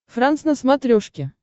франс на смотрешке